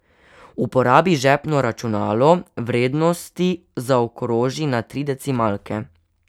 Uporabi žepno računalo, vrednosti zaokroži na tri decimalke.